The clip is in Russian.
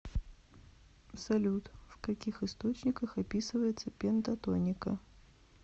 салют в каких источниках описывается пентатоника